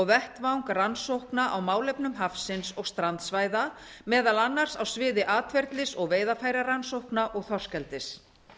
vettvang rannsókna á málefnum hafsins og strandsvæða meðal annars á sviði atferlis og veiðarfærarannsókna og þorskeldis